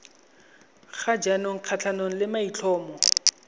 ga jaanong kgatlhanong le maitlhomo